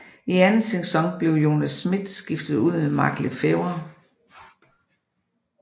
I anden sæson blev Jonas Schmidt skiftet ud med Mark Le Fêvre